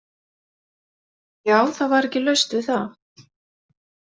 Já, það var ekki laust við það.